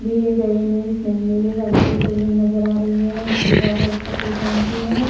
दिए गए में नीले रंग की बिल्डिंग नज़र आ रही है। उसकी बॉर्डर सफ़ेद रंग की है।